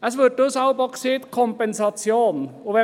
Es ist dann jeweils von Kompensation die Rede.